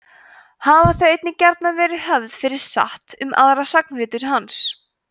hafa þau einnig gjarnan verið höfð fyrir satt um aðra sagnaritun hans